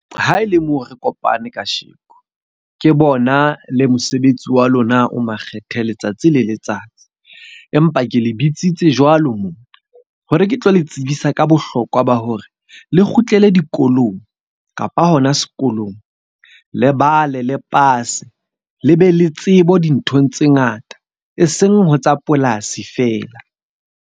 Ha ele moo re kopane kasheko, ke bona le mosebetsi wa lona o makgethe letsatsi le letsatsi. Empa ke le bitsitse jwalo hore ke tlo le tsebisa ka bohlokwa ba hore le kgutlele dikolong kapa hona sekolong. Lebale le pase, le be le tsebo dinthong tse ngata. E seng ho tsa polasi fela.